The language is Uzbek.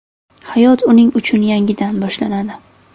Hayot uning uchun yangidan boshlanadi.